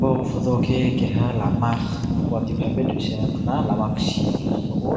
bo fojol ke keha lama watui fai fai dui se wngkha na lama kisi swng khe wngo